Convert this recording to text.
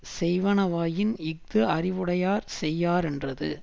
செய்வனாயின் இஃது அறிவுடையார் செய்யாரென்றது